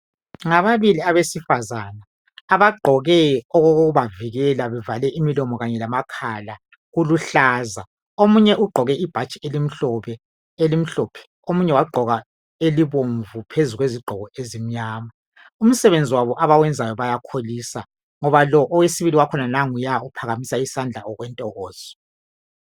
Ngababili abesifazane abagqoke okokubavikela bevale imilomo kanye lamakhala kuluhlaza omunye ugqoke ibhatshi elimhlophe omunye wagqoka elibomvu phezu kwezigqoko ezimnyama umsebenzi abawenzayo yawukholisa ngoba lo owesibili wakhona uya uphakamisa isandla okwentokozo